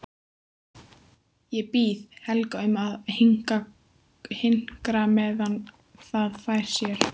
Ég bið Helga um að hinkra meðan það fær sér.